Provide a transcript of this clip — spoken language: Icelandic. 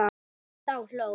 Þá hló